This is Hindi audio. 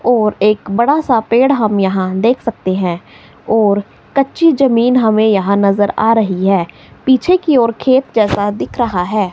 और एक बड़ासा पेड़ हम यहां देख सकते हैं और कच्ची जमीन हमें यहां नज़र आ रही है। पीछे की ओर खेत जैसा दिख रहा है।